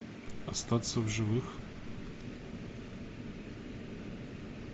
остаться в живых